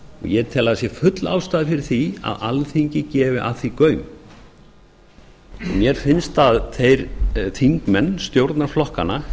ég tel að það sé full ástæða fyrir því að alþingi gefi að því gaum og mér finnst að þeir þingmenn stjórnarflokkanna